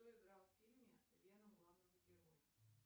кто играл в фильме веном главного героя